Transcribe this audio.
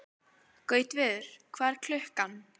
Gautviður, hvað er klukkan?